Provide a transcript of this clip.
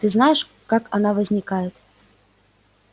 ты знаешь как она возникает